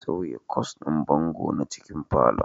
Sauya kwas ɗin bango na cikin falon